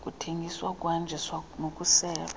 zokuthengiswa ukuhanjiswa nokuselwa